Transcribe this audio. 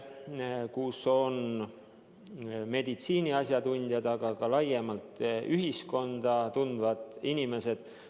Selles nõukojas on meditsiiniasjatundjad, aga ka laiemalt ühiskonda tundvad inimesed.